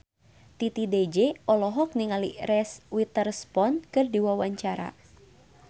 Titi DJ olohok ningali Reese Witherspoon keur diwawancara